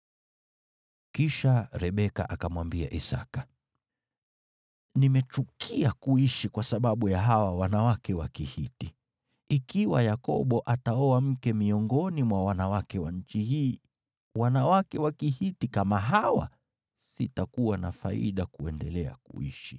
Kisha Rebeka akamwambia Isaki, “Nimechukia kuishi kwa sababu ya hawa wanawake wa Kihiti. Ikiwa Yakobo ataoa mke miongoni mwa wanawake wa nchi hii, wanawake wa Kihiti kama hawa, sitakuwa na faida kuendelea kuishi.”